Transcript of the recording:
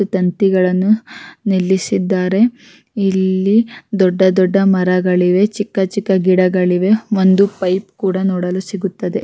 ತಂತಿಗಳನ್ನು ನಿಲ್ಲಿಸಿದ್ದಾರೆ ಇಲ್ಲಿ ದೊಡ್ಡ ದೊಡ್ಡ ಮರಗಳಿವೆ ಚಿಕ್ಕ ಚಿಕ್ಕ ಗಿಡಗಳಿವೆ ಒಂದು ಪೈಪ್ ಕೂಡ ನೋಡಲು ಸಿಗುತ್ತದೆ.